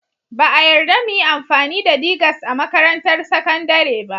Ba a yarda mu yi amfani da digers a makarantar sakandare ba